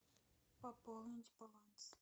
пополнить баланс